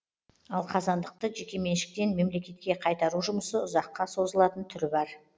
ал қазандықты жекеменшіктен мемлекетке қайтару жұмысы ұзаққа созылатын түрі бар